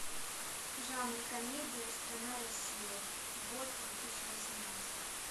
жанр комедия страна россия год две тысячи восемнадцатый